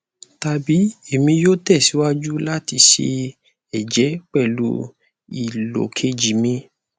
tabi emi yoo tẹsiwaju lati sẹ ẹjẹ pẹlu ilo keji mi